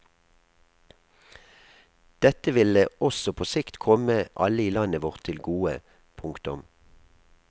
Dette ville også på sikt komme alle i landet vårt til gode. punktum